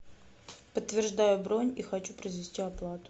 подтверждаю бронь и хочу произвести оплату